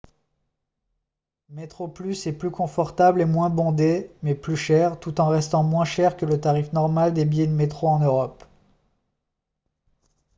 metroplus est plus confortable et moins bondé mais plus cher tout en restant moins cher que le tarif normal des billets de métro en europe